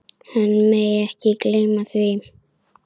Hann megi ekki gleyma því.